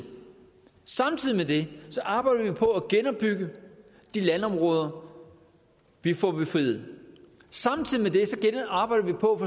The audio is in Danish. samtidig med det arbejder vi på at genopbygge de landområder vi får befriet samtidig med det arbejder vi på